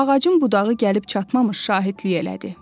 Ağacın budağı gəlib çatmamış şahidlik elədi.